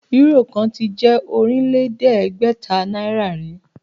Euro kan tí je Ọ̀rìnlẹ̀ẹ́dẹ́gbẹ̀ta náírà rí